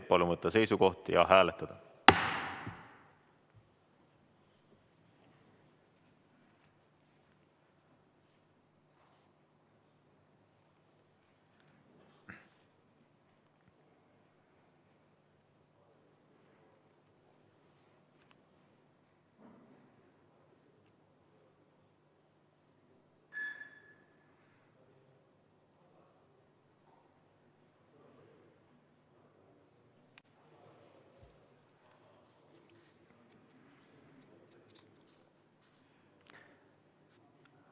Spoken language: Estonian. Palun võtta seisukoht ja hääletada!